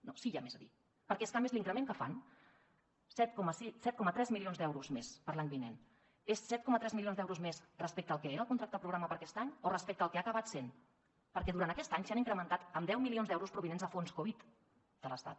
no sí que hi ha més a dir perquè és que a més l’increment que fan set coma tres milions d’euros més per a l’any vinent és set coma tres milions d’euros més respecte al que era el contracte programa per a aquest any o respecte al que ha acabat sent perquè durant aquest any s’ha incrementat en deu milions d’euros provinents de fons covid de l’estat